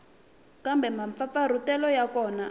kumbe mampfampfarhutelo ya kona a